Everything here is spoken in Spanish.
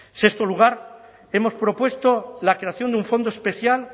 sexto lugar hemos propuesto la creación de un fondo especial